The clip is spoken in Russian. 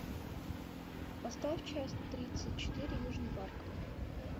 поставь часть тридцать четыре южный парк